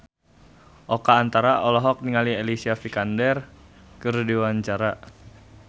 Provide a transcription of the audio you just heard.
Oka Antara olohok ningali Alicia Vikander keur diwawancara